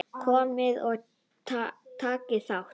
Komiði og takið þá!